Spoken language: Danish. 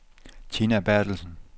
Tina Berthelsen